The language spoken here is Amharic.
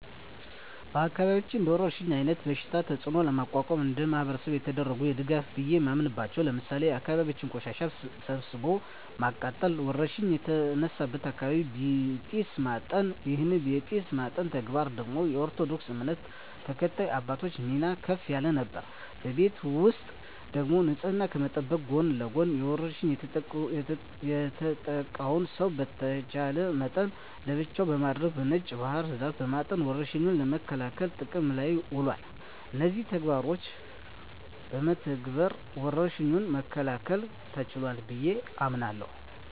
በአካባቢያችን እንደወረርሽኝ አይነት በሽታ ተጽኖ ለመቋቋም እንደማህበረሰብ የተደረገ ድጋፍ ቢየ ማምናበቻው ለምሳሌ የአካባቢን ቆሻሻ ሰብስቦ ማቃጠል እና ወረርሽኝ የተነሳበትን አካባቢ በጢስ ማጠን ይህን የጢስ ማጠን ተግባር ደግሞ የኦርቶዶክስ እምነት ተከታይ አባቶች ሚና ከፍ ያለ ነበር። በቤት ውስጥ ደግሞ ንጽህናን ከመጠበቅ ጎን ለጎን በወርሽኙ የተጠቃውን ሰው በተቻለ መጠን ለብቻው በማድረግ በነጭ ባህር ዛፍ በማጠን ወረርሽኙን ለመከላከል ጥቅም ላይ ውሏል። እነዚህን ተግባሮች በመተግበር ወረርሽኙን መከላከል ተችሏል ብየ አምናለሁ።